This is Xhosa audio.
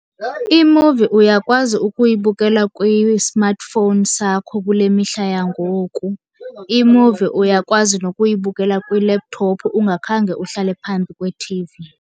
Imuvi uyakwazi ukuyibukela kwi-smartphone sakho kule mihla yangoku. Imuvi uyakwazi nokuyibukela kwi-laptop ungakhange uhlale phambi kweT_V.